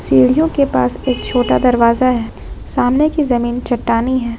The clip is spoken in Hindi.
सीढ़ियों के पास एक छोटा दरवाजा है सामने की जमीन चट्टानी है ।